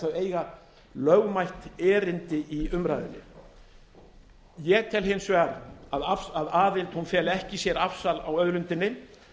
eiga lögmætt erindi í umræðunni ég tel hins vegar að aðild feli ekki í sér afsal á auðlindinni